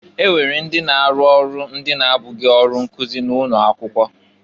E nwere ndị na-arụ ọrụ ndị na-abụghị ọrụ nkụzị na ụnọ akwụkwọ.